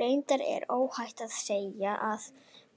Reyndar er óhætt að segja að